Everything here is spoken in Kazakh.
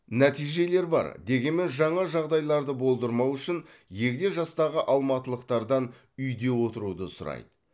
нәтижелер бар дегенмен жаңа жағдайларды болдырмау үшін егде жастағы алматылықтардан үйде отыруды сұрайды